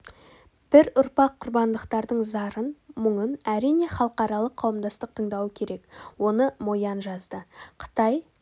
бір ұрпақ құрбандықтардың зарын мұңын әрине халықаралық қауымдастық тыңдауы керек оны мо ян жазды қытай